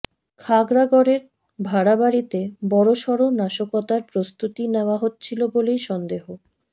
খাগড়াগড়ের ভাড়াবাড়িতে বড়সড় নাশকতার প্রস্তুতি নেওয়া হচ্ছিল বলেই সন্দেহ